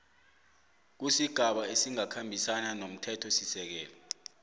kusigaba esingakhambisani nomthethosisekelo